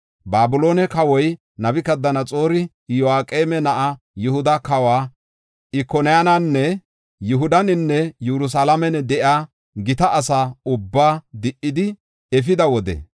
Babiloone kawoy Nabukadanaxoori Iyo7aqeema na7aa, Yihuda kawa Ikoniyaananne Yihudaninne Yerusalaamen de7iya gita asa ubbaa di77idi efida wode,